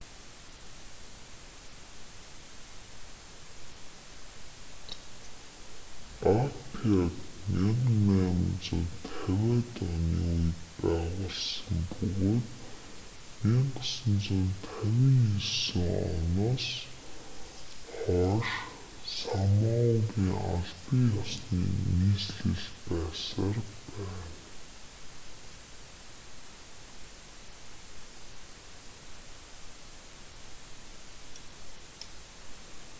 апиаг 1850-иад оны үед байгуулсан бөгөөд 1959 оноос хойш самоагийн албан ёсны нийслэл байсаар байна